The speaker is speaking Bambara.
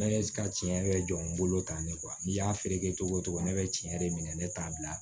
Ne ka tiɲɛ yɛrɛ jɔ n bolo tan ne n'i y'a feere kɛ cogo o cogo ne bɛ tiɲɛ de minɛ ne t'a bila